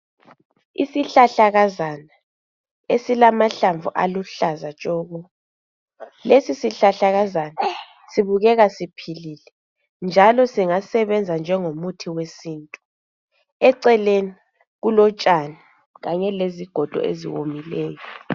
Isihlahlakazana esilamahlamvu aluhlaza tshoko lesi sihlahlakazana sibukeka siphilile kakhulu njalo singasebenza njengomuthi wesintu eceleni kulotshani kanye lezigodo ezomileyo